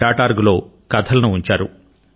orgనందు కథలను ఉంచారు